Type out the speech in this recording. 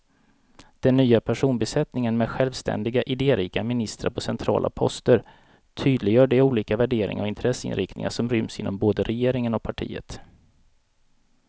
Den nya personbesättningen med självständiga, idérika ministrar på centrala poster tydliggör de olika värderingar och intresseinriktningar som ryms inom både regeringen och partiet.